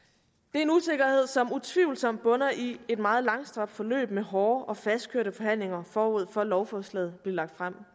er en usikkerhed som utvivlsomt bunder i et meget langstrakt forløb med hårde og fastkørte forhandlinger forud for at lovforslaget blev lagt frem